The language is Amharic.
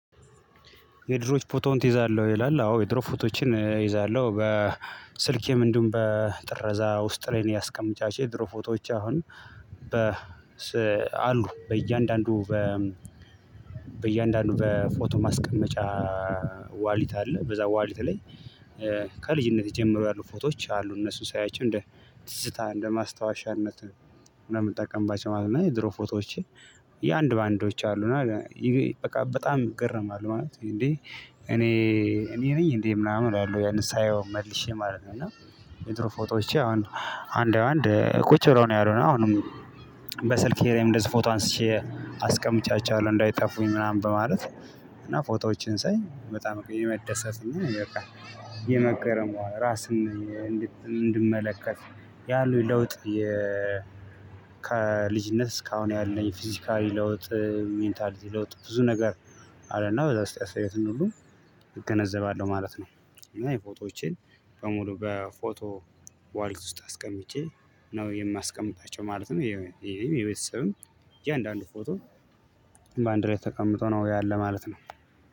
የድሮች ፎቶውን ትይዛለህ ይላል? አዎ የድሮ ፎቶዎችን እይዛለሁ በስልኬም እንዲሁም በጥረዛ ውስጥ ላይ ነው ያስቀምጫቸው የድሮ ፎቶዎች አሁን በ አሉ በእያንዳንዱ በ በእያንዳንዱ በፎቶ ማስቀመጫ ዋሌት አለ በዛ ዋሌት ላይ ጀምሮ ያሉ ፎቶዎች አሉ እነሱን ሳያቸው እንደ ትዝታ እንደ ማስታወሻነት ምናምን ማለት ነው። የድሮ ፎቶዎች የአንድ በአንዶች አሉ እና በቃ በጣም እገረማለው ማለት እንዴ እኔ ነኝ እንዴ ምናምን እላለው ያንን ሳየው መልሼ ማለት ነው። እና የድሮ ፎቶዎቼ አንድ አንድ ቁጭ ብለው ነው። ያሉ አሁንም በስልኬ ላይም እንደዚህ ፎቶ አንስቼ አስቀምጫቸዋለሁ እንዳይጠፉኝ ምናምን በማለት እና ፎቶዎችን ሳይ በጣም የመደሰት እና በቃ የመገረም ራስን እንድመለከት ያሉኝ ለውጥ ከልጅነት እስካሁን ያለኝ ፊዚካሊ ለውጥ ሜንታሊቲ ለውጥ ብዙ ነገር አለና ወደ አስተያየትን እንደሆኑ እገነዘባለሁ ማለት ነው። እና የፎቶዎችን በሙሉ በፎቶ ዋሌት ውስጥ አስቀምጬ ነው የማስቀምጣቸው ማለት ነው። ያው የቤተሰብም እያንዳንዱ ፎቶ በአንድ ላይ ተቀምጦ ነው ያለ ማለት ነው።